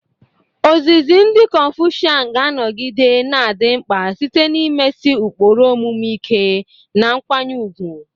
Ozizi ndị konfusian ga-anọgide na-adị mkpa site n'imesi ụkpụrụ omume ike, na nkwanye ùgwù.